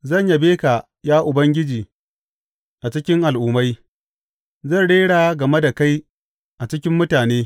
Zan yabe ka, ya Ubangiji, a cikin al’ummai; zan rera game da kai a cikin mutane.